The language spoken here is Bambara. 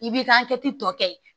I b'i ka hakɛ tɔ kɛ